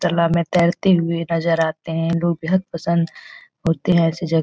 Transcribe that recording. तलाब में तैरते हुए नज़र आते हैं लोग बेहद पसंद होते हैं ऐसी जग --